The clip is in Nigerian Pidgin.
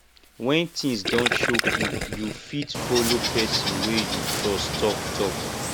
when things don choke you you fit follow person wey you trust talk talk